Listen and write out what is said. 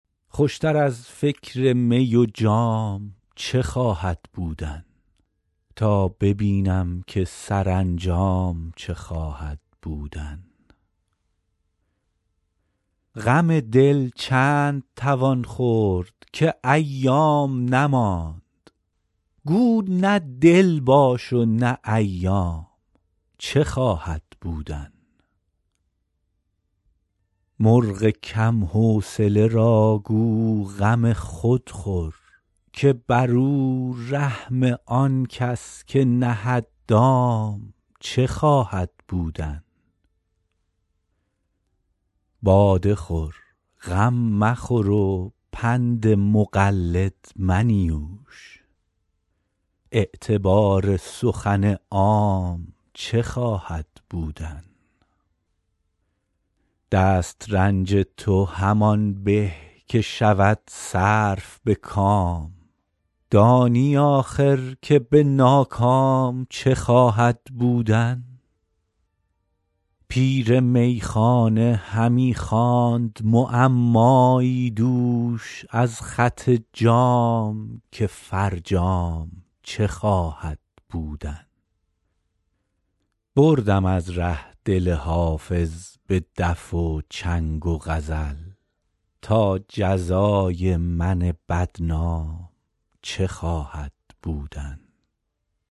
خوش تر از فکر می و جام چه خواهد بودن تا ببینم که سرانجام چه خواهد بودن غم دل چند توان خورد که ایام نماند گو نه دل باش و نه ایام چه خواهد بودن مرغ کم حوصله را گو غم خود خور که بر او رحم آن کس که نهد دام چه خواهد بودن باده خور غم مخور و پند مقلد منیوش اعتبار سخن عام چه خواهد بودن دست رنج تو همان به که شود صرف به کام دانی آخر که به ناکام چه خواهد بودن پیر میخانه همی خواند معمایی دوش از خط جام که فرجام چه خواهد بودن بردم از ره دل حافظ به دف و چنگ و غزل تا جزای من بدنام چه خواهد بودن